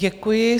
Děkuji.